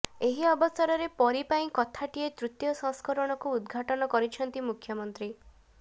ଏହି ଅବସରରେ ପରୀ ପାଇଁ କଥାଟିଏ ତୃତୀୟ ସଂସ୍କରଣକୁ ଉଦଘାଟନ କରିଛନ୍ତି ମୁଖ୍ୟମନ୍ତ୍ରୀ